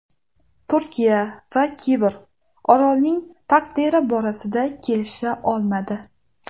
Turkiya va Kipr orolning taqdiri borasida kelisha olmadi.